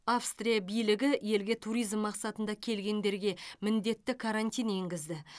австрия билігі елге туризм мақсатында келгендерге міндетті карантин енгізді